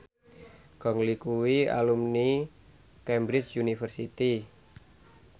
Gong Li kuwi alumni Cambridge University